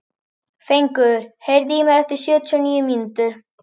Fengur, heyrðu í mér eftir sjötíu og níu mínútur.